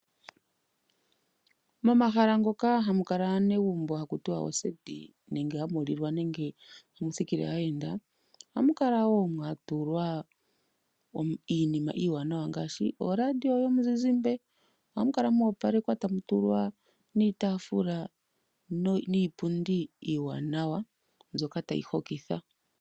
Momahala ngoka hamu kala aanegumbo haku tiwa oseti nenge hamu lilwa nenge hamu sikile aayenda , ohamu kala woo mwatulwa iinima iiwanawa ngaashi oladio yomuzizizmbe. Ohamukala mwo opalwekwa tamu tulwa niitaafula niipundi iiwaanawa.